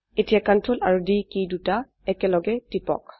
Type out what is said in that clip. এতিয়া Ctrl আৰু D key দুটি একলগে টিপক